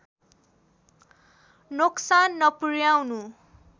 नोक्सान नपुर्‍याउनु